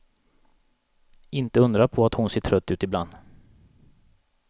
Inte undra på att hon ser trött ut ibland.